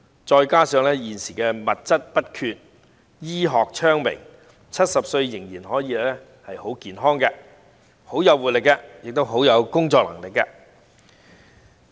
再加上現今的物質不缺，醫學昌明 ，70 歲依然可以很健康、很有活力，以及有很好的工作能力。